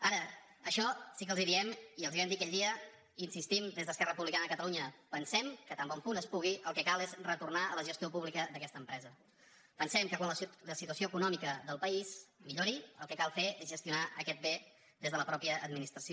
ara això sí que els ho diem i els ho vam dir aquell dia i hi insistim des d’esquerra republicana de catalunya pensem que tan bon punt es pugui el que cal és retornar a la gestió pública d’aquesta empresa pensem que quan la situació econòmica del país millori el que cal fer és gestionar aquest bé des de la mateixa administració